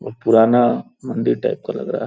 बहुत पुराना मंदिर टाइप का लग रहा है।